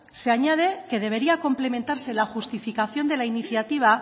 se añade que debería complementarse la justificación de la iniciativa